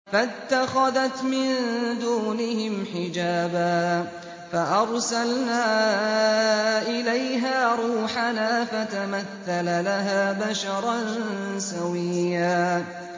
فَاتَّخَذَتْ مِن دُونِهِمْ حِجَابًا فَأَرْسَلْنَا إِلَيْهَا رُوحَنَا فَتَمَثَّلَ لَهَا بَشَرًا سَوِيًّا